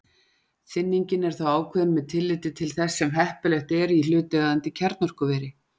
Þynningin er þá ákveðin með tilliti til þess sem heppilegt er í hlutaðeigandi kjarnorkuveri.